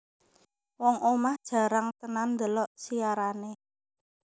Wong omah jarang tenan ndelok siarane